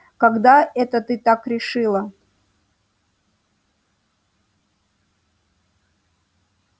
когда это ты так решила